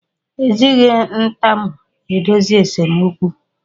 Ejighi ntamu edozi esemokwu